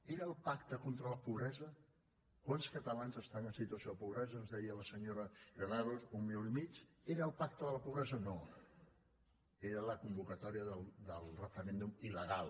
era el pacte contra la pobresa quants catalans estan en situació de pobresa ens deia la senyora granados un milió i mig era el pacte de la pobresa no era la convocatòria del referèndum il·legal